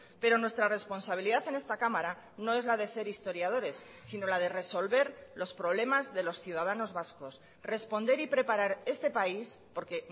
pero nuestra responsabilidad en esta cámara no es la de ser historiadores sino la de resolver los problemas de los ciudadanos vascos responder y preparar este país porque